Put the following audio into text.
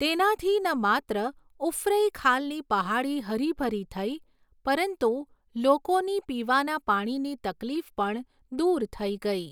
તેનાથી ન માત્ર ઉફરૈંખાલની પહાડી હરી ભરી થઈ, પરંતુ લોકોની પીવાના પાણીની તકલીફ પણ દૂર થઈ ગઈ.